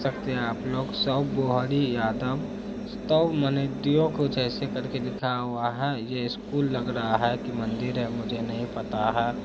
देख सकते हैं आप लोग स्व बहुरी यादव स्व मनोधयो कुछ ऐसे करके लिखा हुआ है। ये स्कूल लग रहा है के मंदिर है मुझे नहीं पता है।